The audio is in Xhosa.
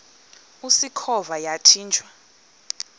usikhova yathinjw a